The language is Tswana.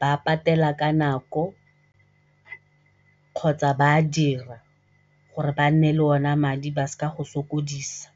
ba patela ka nako kgotsa ba a dira gore ba nne le ona madi ba se ka go sokodisa.